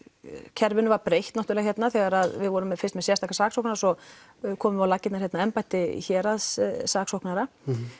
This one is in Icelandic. kerfinu var breytt hérna þegar við vorum fyrst með sérstakan saksóknara svo komum við á laggirnar embætti héraðssaksóknara